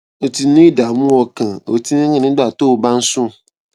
o ti ní ìdààmú ọkàn o ti ń rìn nígbà tó o bá ń sùn